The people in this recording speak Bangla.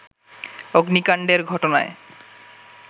অগ্নিকাণ্ডের ঘটনায়